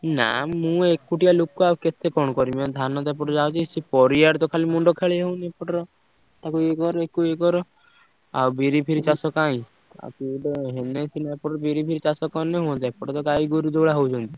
ନା ମୁଁ ଏକୁଟିଆ ଲୋକ ଆଉ କେତେ କଣ କରିବି? ଆଉ ଧାନ ତ ଏପଟେ ଯାଉଚି ସିଏ ପରିବା ର ତ ଖାଲି ମୁଣ୍ଡ ଖେଳେଇ ହଉନି ଏପଟର ତାକୁ ଇଏ କର ଆକୁ ଇଏ କର। ଆଉ ବିରି ଫିରି ଚାଷ କାଇଁ। ଆଉ କିଏ ଗୋଟେ ହେଲେ ସିନା ଏପଟେ ବିରି ଫିରି ଚାଷ କଲେ ହୁଅନ୍ତା। ଏପଟେ ତ ଗାଈଗୋରୁ ଯୋଉ ଭଳିଆ ହଉଛନ୍ତି।